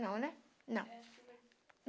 Não, né? não